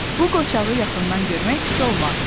Bu qoçağı yaxından görmək pis olmaz.